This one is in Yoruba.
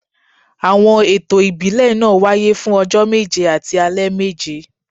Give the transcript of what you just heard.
Àwọn ètò ìbílẹ̀ náà wáyé fún ọjọ́ méje àti alẹ́ méje